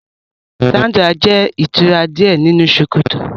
Sandra jẹ itura diẹ ninu sokoto.